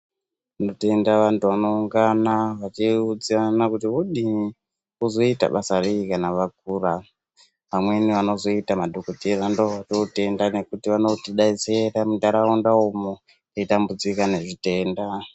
Tinotenda antu anoungana achiudza antu kuti vaskana vachiudzana kuti vodini vozoita basa rei kana vakura vamweni vanozoita madhokodheya ndovatotenda ngekuti vanotidetsera mundaraunda umu teitambudzika nezvitenda.